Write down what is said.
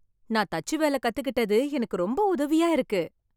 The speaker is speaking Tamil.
நான் தச்சு வேலை கத்துக்கிட்டது எனக்கு ரொம்ப உதவியா இருக்கு.